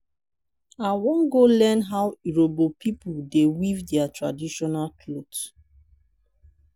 i wan go learn how urhobo pipo dey weave their traditional cloth.